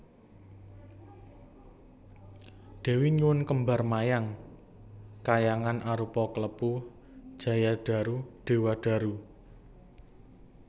Déwi nyuwun Kembar Mayang khayangan Arupa Klepu Jayadaru Dewadaru